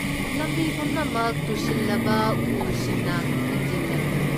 ꯂꯝꯕꯤ ꯄꯨꯝꯅꯃꯛ ꯇꯨꯁꯤꯜꯂꯕ ꯎꯁꯤꯡꯅ ꯊꯤꯡꯖꯤꯜꯂꯦ꯫